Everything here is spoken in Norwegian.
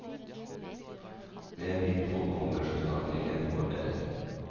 Mer info kommer så snart jeg vet noe mer.